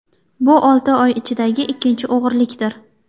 Bu olti oy ichidagi ikkinchi o‘g‘rilikdir.